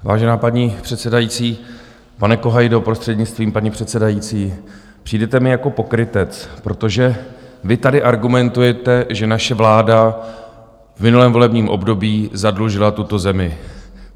Vážená paní předsedající, pane Kohajdo prostřednictvím paní předsedající, přijdete mi jako pokrytec, protože vy tady argumentujete, že naše vláda v minulém volebním období zadlužila tuto zemi.